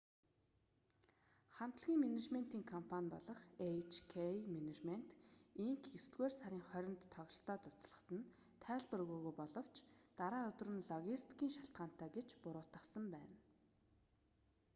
хамтлагийн менежментийн компани болох эйч-кэй менежмент инк есдүгээр сарын 20-нд тоглолтоо цуцлахад нь тайлбар өгөөгүй боловч дараа өдөр нь логистикийн шалтгаантай гэж буруутгасан байна